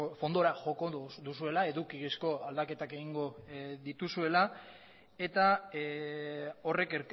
fondora joko duzuela edukizko aldaketak egingo dituzuela eta horrek